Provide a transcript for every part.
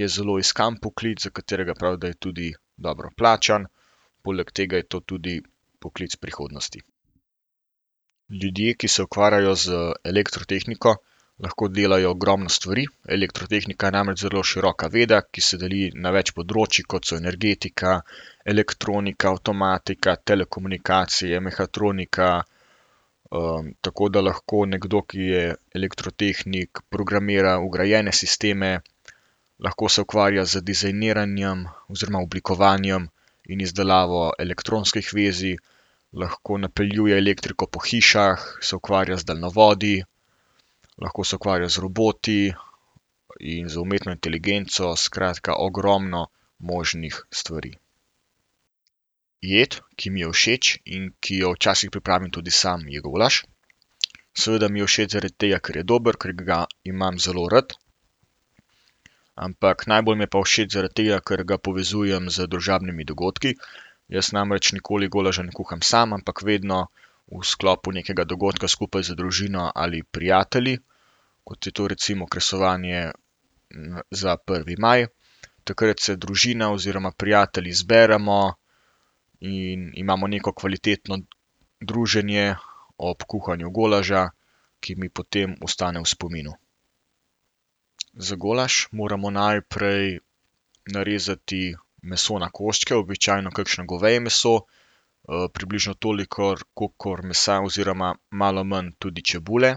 Je zelo iskan poklic, za katerega pravijo, da je tudi dobro plačan. Poleg tega je to tudi poklic prihodnosti. Ljudje, ki se ukvarjajo z elektrotehniko, lahko delajo ogromno stvari. Elektrotehnika je namreč zelo široka veda, ki se deli na več področij, kot so energetika, elektronika, avtomatika, telekomunikacije, mehatronika, tako da lahko nekdo, ki je elektrotehnik, programira vgrajene sisteme. Lahko se ukvarja z dizajniranjem oziroma z oblikovanjem in izdelavo elektronskih vezij. Lahko napeljuje elektriko po hišah, se ukvarja z daljnovodi, lahko se ukvarja z roboti in z umetno inteligenco, skratka, ogromno možnih stvari. Jed, ki mi je všeč in ki jo včasih pripravim tudi sam, je golaž. Seveda mi je všeč zaradi tega, ker je dober, ker ga imam zelo rad, ampak najbolj mi je pa všeč zaradi tega, ker ga povezujem z družabnimi dogodki. Jaz namreč nikoli golaža ne kuham sam, ampak vedno v sklopu nekega dogodka skupaj z družino ali prijatelji, kot je to recimo kresovanje, za prvi maj. Takrat se družina oziroma prijatelji zberemo in imamo neko kvalitetno druženje ob kuhanju golaža, ki mi potem ostane v spominu. Za golaž moramo najprej, narezati meso na koščke, običajno kakšno goveje meso, približno toliko kolikor mesa, oziroma malo manj tudi čebule.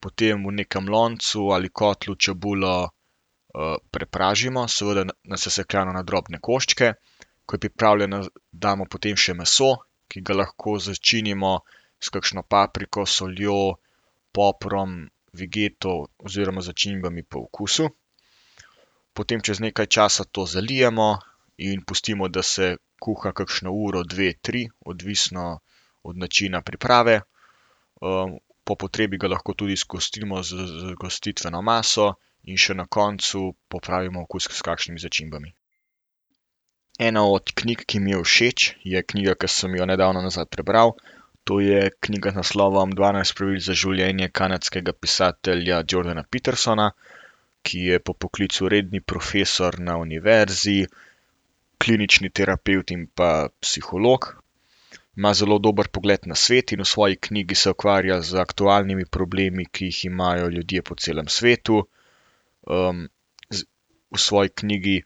Potem v nekem loncu ali kotlu čebulo, prepražimo, seveda nasesekljano na drobne koščke, ko je pripravljena, damo potem še meso, ki ga lahko začinimo s kakšno papriko, soljo, poprom, vegeto oziroma začimbami po okusu. Potem čez nekaj časa to zalijemo in pustimo, da se kuha kakšno uro, dve, tri odvisno od načina priprave. po potrebi ga lahko tudi zgostimo z gostitveno maso in še na koncu popravimo okus s kakšnimi začimbami. Ena od knjig, ki mi je všeč, je knjiga, ki sem jo nedavno nazaj prebral. To je knjiga z naslovom Dvanajst pravil za življenje kanadskega pisatelja Jordana Petersona, ki je po poklicu redni profesor na univerzi, klinični terapevt in pa psiholog. Ima zelo dobro pogled na svet in v svoji knjigi se ukvarja z aktualnimi problemi, ki jih imajo ljudje po celem svetu. z v svoji knjigi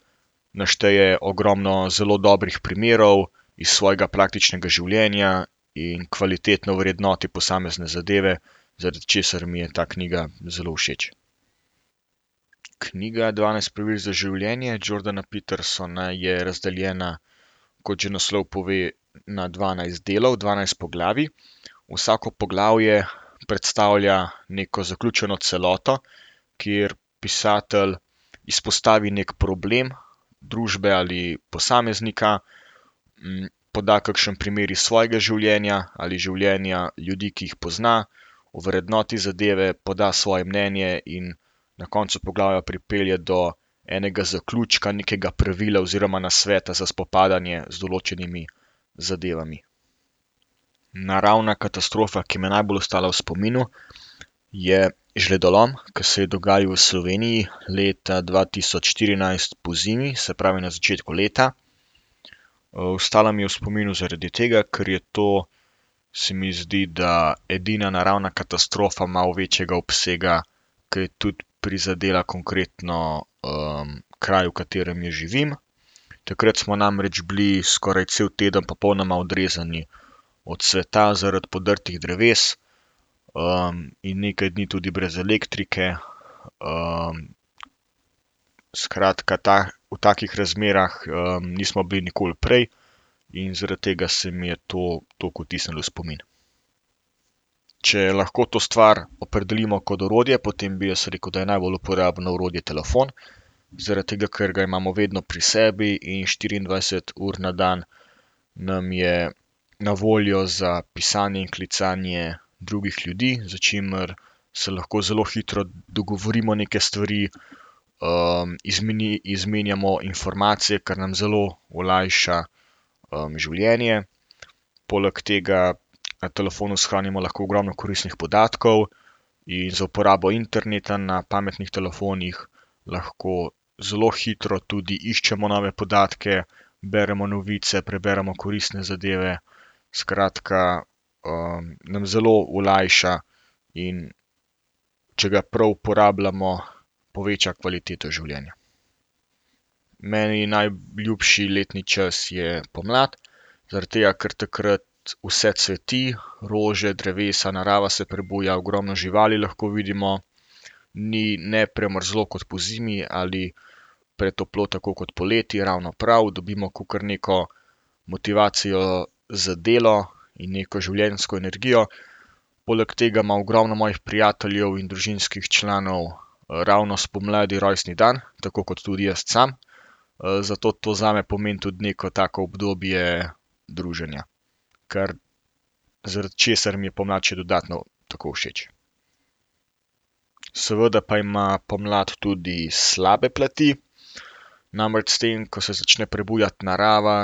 našteje ogromno zelo dobrih primerov iz svojega praktičnega življenja in kvalitetno vrednoti posamezne zadeve, zaradi česar mi je ta knjiga zelo všeč. Knjiga Dvanajst pravil za življenje Jordana Petersona je razdeljena, kot že naslov pove, na dvanajst delov, dvanajst poglavij. Vsako poglavje predstavlja neko zaključeno celoto, kjer pisatelj izpostavi neki problem družbe ali posameznika, poda kakšen primer iz svojega življenja ali življenja ljudi, ki jih pozna. Ovrednoti zadeve, poda svoje mnenje in na koncu poglavja pripelje do enega zaključka nekega pravila oziroma nasveta za spopadanje z določenimi zadevami. Naravna katastrofa, ki mi je najbolj ostala v spominu, je žledolom, ke se je dogajal v Sloveniji leta dva tisoč štirinajst pozimi, se pravi na začetku leta. ostala mi je v spominu zaradi tega, ker je to, se mi zdi, da edina naravna katastrofa malo večjega obsega, ker je tudi prizadela konkretno, kraj, v katerem jaz živim. Takrat smo namreč bili skoraj cel teden popolnoma odrezani od sveta zaradi podrtih dreves, in nekaj dni tudi brez elektrike. skratka, ta, v takih razmerah, nismo bili nikoli prej in zaradi tega se mi je to toliko vtisnilo v spomin. Če lahko to stvar opredelimo kot orodje, potem bi jaz rekel, da je najbolj uporabno orodje telefon, zaradi tega, ker ga imamo vedno pri sebi in štiriindvajset ur na dan nam je na voljo za pisanje in klicanje drugih ljudi, s čimer se lahko zelo hitro dogovorimo neke stvari, izmenjamo informacije, kar nam zelo olajša, življenje. Poleg tega na telefonu shranimo lahko ogromno koristnih podatkov in za uporabo interneta na pametnih telefonih lahko zelo hitro tudi iščemo nove podatke, beremo novice, preberemo koristne zadeve. Skratka, nam zelo olajša, in če ga prav uporabljamo, poveča kvaliteto življenja. Meni najljubši letni čas je pomlad zaradi tega, ker takrat vse cveti, rože, drevesa, narava se prebuja, ogromno živali lahko vidimo. Ni ne premrzlo kot pozimi ali pretoplo tako kot poleti, ravno prav. Dobimo kakor neko motivacijo za delo in neko življenjsko energijo. Poleg tega ima ogromno mojih prijateljev in družinskih članov, ravno spomladi rojstni dan, tako kot tudi jaz sam. zato to zame pomeni tudi neko tako obdobje druženja. Ker, zaradi česar mi je pomlad še dodatno tako všeč. Seveda pa ima pomlad tudi slabe plati, namreč s tem, ko se začne prebujati narava,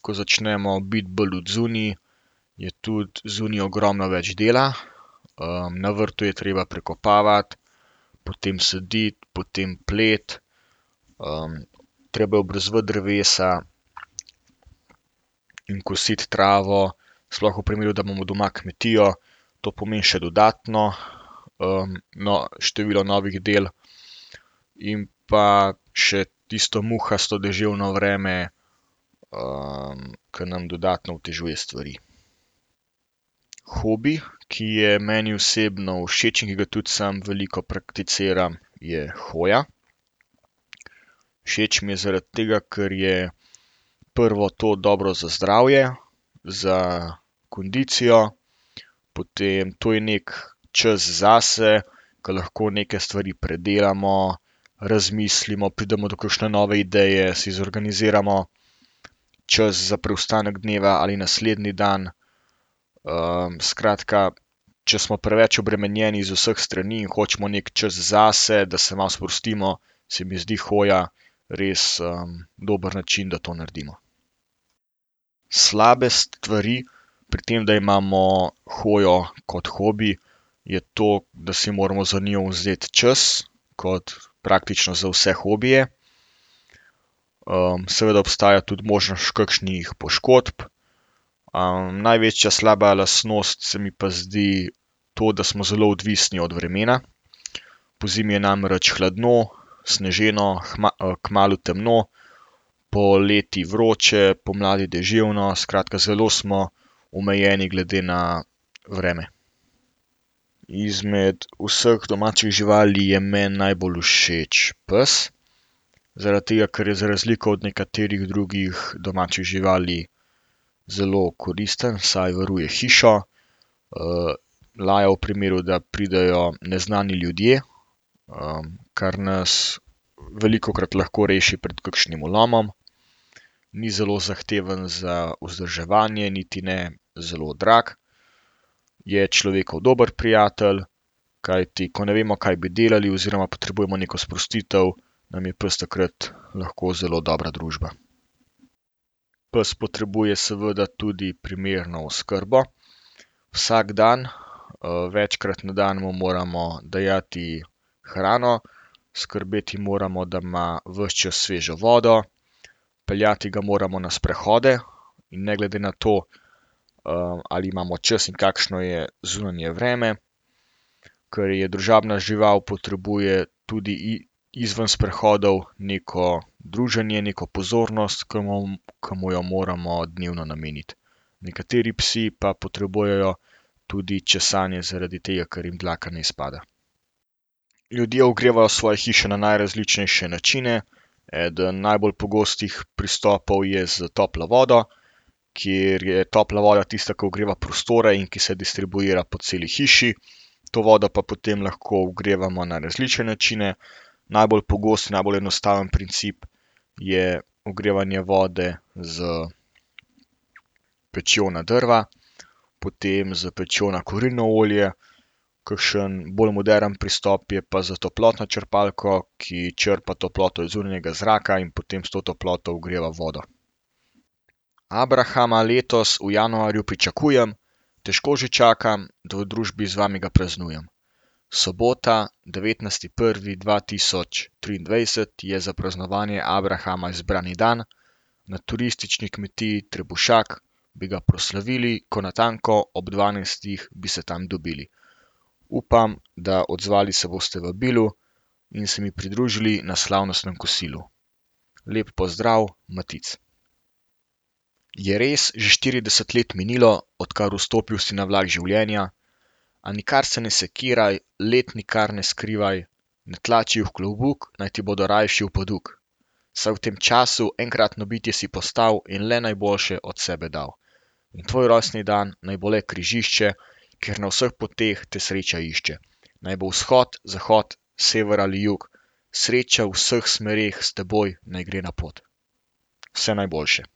ko začnemo biti bolj odzunaj, je tudi zunaj ogromno več dela. na vrtu je treba prekopavati, potem saditi, potem pleti, treba je obrezovati drevesa, in kositi travo, sploh v primeru, da imamo doma kmetijo. To pomeni še dodatno, no, število novih del in pa še tisto muhasto deževno vreme, ke nam dodatno otežuje stvari. Hobi, ki je meni osebno všeč in ga tudi sam veliko prakticiram, je hoja. Všeč mi je zaradi tega, ker je prvo to dobro za zdravje, za kondicijo, potem to je neki čas zase, ker lahko neke stvari predelamo, razmislimo, pridemo do kakšne nove ideje, si zorganiziramo čas za preostanek dneva ali naslednji dan. skratka, če smo preveč obremenjeni z vseh strani, hočemo neki čas zase, da se malo sprostimo, se mi zdi hoja res, dober način, da to naredimo. Slabe stvari pri tem, da imamo hojo kot hobi, je to, da si moramo za njo vzeti čas kot praktično za vse hobije. seveda obstaja tudi možnost kakšnih poškodb. največja slaba lastnost se mi pa zdi to, da smo zelo odvisni od vremena. Pozimi je namreč hladno, sneženo, kmalu temno. Poleti vroče, pomladi deževno, skratka, zelo smo omejeni glede na vreme. Izmed vseh domačih živali je meni najbolj všeč pes. Zaradi tega, ker je za razliko od nekaterih drugih domačih živali zelo koristen, saj varuje hišo, laja v primeru, da pridejo neznani ljudje, kar nas velikokrat lahko reši pred kakšnim vlomom. Ni zelo zahtevno za vzdrževanje niti ne zelo drago. Je človekov dober prijatelj kajti, ko ne vemo, kaj bi delali oziroma potrebujemo neko sprostitev, nam je pes takrat lahko zelo dobra družba. Pes potrebuje seveda tudi primerno oskrbo vsak dan, večkrat na dan mu moramo dajati hrano, skrbeti moramo, da ima ves čas svežo vodo. Peljati ga moramo na sprehode in ne glede na to, ali imamo čas in kakšno je zunanje vreme. Ker je družabna žival, potrebuje tudi izven sprehodov neko druženje, neko pozornost, ki ki mu jo moramo dnevno nameniti. Nekateri psi pa potrebujejo tudi česanje zaradi tega, ker jim dlaka ne izpada. Ljudje ogrevajo svoje hiše na najrazličnejše načine, eden najbolj pogostih pristopov je s toplo vodo, kjer je topla voda tista, ke ogreva prostore in ki se distribuira po celi hiši. To vodo pa potem lahko ogrevamo na različne načine. Najbolj pogost, najbolj enostaven princip je ogrevanje vode s pečjo na drva, potem s pečjo na kurilno olje, kakšen bolj moderen pristop je pa s toplotno črpalko, ki črpa toploto iz zunanjega zraka in potem s to toploto ogreva vodo. Abrahama letos v januarju pričakujem, težko že čakam, da v družbi z vami ga praznujem. Sobota devetnajsti prvi dva tisoč triindvajset je za praznovanje abrahama izbrani dan na turistični kmetiji Trebušak bi ga proslavili, ko natanko ob dvanajstih bi se tam dobili. Upam, da odzvali se boste vabilu in se mi pridružili na slavnostnem kosilu. Lepo pozdrav, Matic. Je res že štirideset let minilo, odkar vstopil si na vlak življenja, a nikar se ne sekiraj, let nikar ne skrivaj, ne tlači jih v klobuk, naj ti bojo rajši v poduk, saj v tem času enkratno bitje si postal in le najboljše od sebe dal. Na tvoj rojstni dan naj bo le križišče, kjer na vseh poteh te sreča išče. Naj bo vzhod, zahod, sever ali jug, sreča v vseh smereh s teboj naj gre na pot. Vse najboljše.